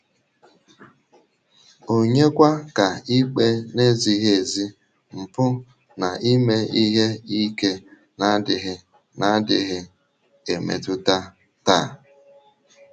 Ònyekwà ka ikpe na-ezighị ezi, mpụ, na ime ihe ike na-adịghị na-adịghị emetụta taa?